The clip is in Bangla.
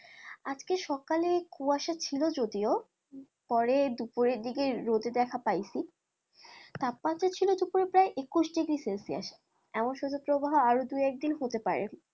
আজকে সকালে কুয়াশা ছিল যদিও পরে দুপুরের দিকে রোদে দেখা পাইছি তাপমাত্রা ছিল দুপুরে প্রায় একুশ degree celsius এমন শৈত্যপ্রবাহ আরো দু একদিন হতে পারে,